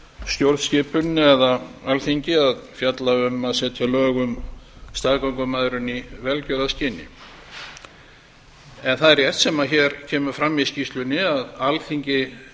stjórnskipuninni eða alþingi að fjalla um að setja lög um staðgöngumæðrun í velgjörðarskyni það er rétt sem hér kemur fram í skýrslunni að alþingi